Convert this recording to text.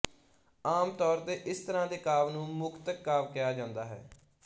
ਆਮ ਤੌਰ ਤੇ ਇਸ ਤਰ੍ਹਾਂ ਦੇ ਕਾਵਿ ਨੂੰ ਮੁਕਤਕ ਕਾਵਿ ਕਿਹਾ ਜਾਂਦਾ ਹੈ